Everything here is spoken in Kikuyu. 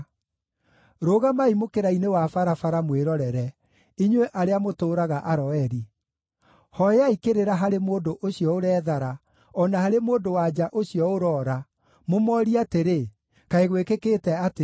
Rũgamai mũkĩra-inĩ wa barabara mwĩrorere, inyuĩ arĩa mũtũũraga Aroeri. Hooyai kĩrĩra harĩ mũndũ ũcio ũrethara, o na harĩ mũndũ-wa-nja ũcio ũroora, mũmoorie atĩrĩ, ‘Kaĩ gwĩkĩkĩte atĩa?’